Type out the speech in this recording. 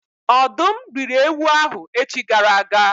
Ọ̀dụ́m rị́ri ewu ahụ echi gara aga